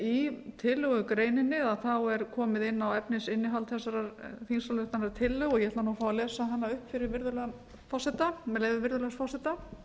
í tillögugreininni er komið inn á efnisinnihald þessarar þingsályktunartillögu ég ætla nú að fá að lesa hana upp fyrir virðulegan forseta með leyfi virðulegs forseta